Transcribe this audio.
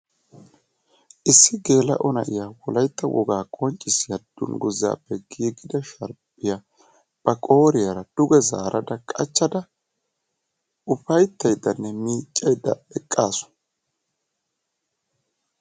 Issi gela'o na'iyaa Wolaytta wogaa qonccissiya dungguzappe giigida sharbbiya ba qooriyaara duge zaarada qachchada uffayttadanne miiccaydda eqqaasu.